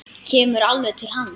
Kemur alveg til hans.